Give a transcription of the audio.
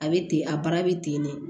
A bɛ ten a baara bɛ ten de